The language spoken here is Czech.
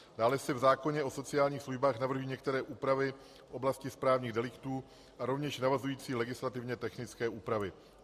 Dále se v zákoně o sociálních službách navrhují některé úpravy v oblasti správních deliktů a rovněž navazující legislativně technické úpravy.